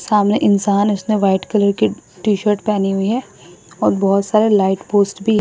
सामने इंसान उसने व्हाइट कलर की टी शर्ट पहनी हुई है और बहुत सारे लाइट पोस्ट भी --